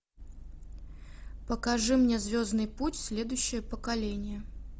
покажи мне звездный путь следующее поколение